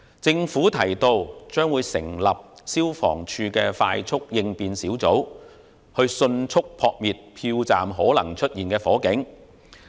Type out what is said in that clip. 政府表示會成立消防處快速應變小組，以迅速撲滅票站可能出現的火警。